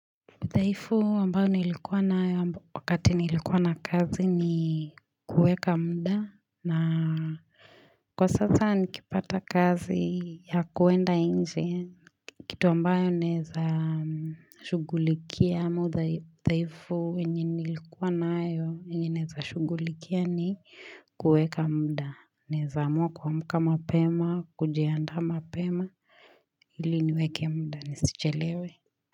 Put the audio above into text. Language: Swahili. Dhaifu ambayo nilikuwa nayo wakati nilikua na kazi ni kuweka muda na kwa sasa nikipata kazi ya kuenda nje kitu ambayo naweza shughulikia mudhaifu yenye nilikuwa nayo yenye naweza shughulikia ni kuweka muda. Naweza amua kuamka mapema, kujianda mapema, ili niweke muda, nisichelewe.